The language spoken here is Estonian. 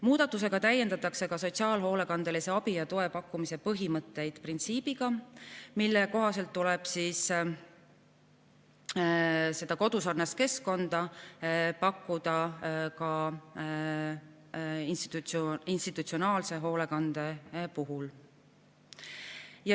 Muudatusega täiendatakse sotsiaalhoolekandelise abi ja toe pakkumise põhimõtteid printsiibiga, mille kohaselt tuleb seda kodusarnast keskkonda pakkuda ka institutsionaalse hoolekande puhul.